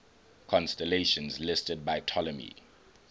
constellations listed by ptolemy